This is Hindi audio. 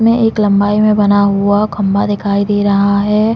में एक लंबाई में बना हुआ खम्बा दिखई दे रहा है।